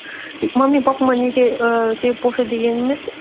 и мамам мен папама неге ііі де бұл жер дегеніміз